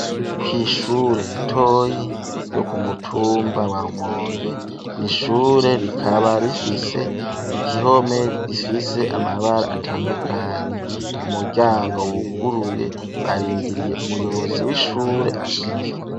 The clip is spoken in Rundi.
Kwishure ritoyi ryo kumutumba wa rumonge ,nishure rikaba rifise ikihome gifise amabara atandukanye ,mu muryango wuguruye barindiriye umuyobozi w'ishure ashike.